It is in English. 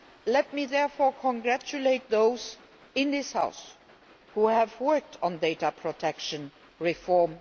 Let me therefore congratulate those in this House who have worked very hard on data protection reform.